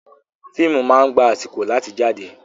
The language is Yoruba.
Fíìmù máa ń gba àsìkò láti jáde.